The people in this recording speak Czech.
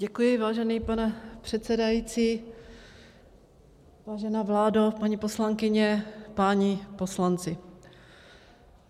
Děkuji, vážený pane předsedající, vážená vládo, paní poslankyně, páni poslanci.